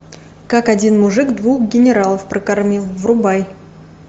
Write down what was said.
как один мужик двух генералов прокормил врубай